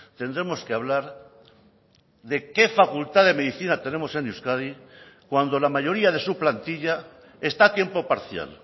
tendremos que hablar de qué facultad de medicina tenemos en euskadi cuando la mayoría de su plantilla está a tiempo parcial